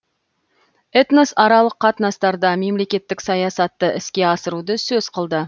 этносаралық қатынастарда мемлекеттік саясатты іске асыруды сөз қылды